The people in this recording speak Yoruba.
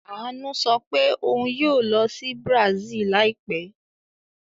Àánú sọ pé òun yóò lọ sí Brazil láìpẹ́.